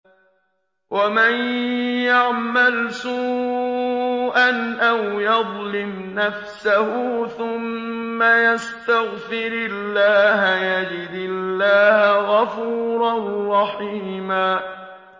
وَمَن يَعْمَلْ سُوءًا أَوْ يَظْلِمْ نَفْسَهُ ثُمَّ يَسْتَغْفِرِ اللَّهَ يَجِدِ اللَّهَ غَفُورًا رَّحِيمًا